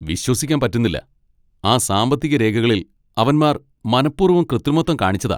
വിശ്വസിക്കാൻ പറ്റുന്നില്ല! ആ സാമ്പത്തിക രേഖകളിൽ അവന്മാർ മനപ്പൂർവ്വം കൃത്രിമത്വം കാണിച്ചതാ.